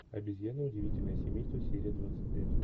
обезьяны удивительное семейство серия двадцать пять